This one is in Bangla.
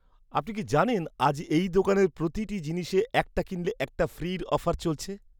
আপনি কি জানেন আজ এই দোকানের প্রতিটি জিনিসে 'একটা কিনলে একটা ফ্রি' অফার চলছে!